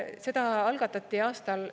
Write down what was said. Seda algatati aastal …